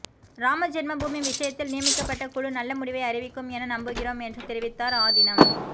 ராம ஜென்ம பூமி விஷயத்தில் நியமிக்கப்பட்ட குழு நல்ல முடிவை அறிவிக்கும் என நம்புகிறோம் என்று தெரிவித்தார் ஆதீனம்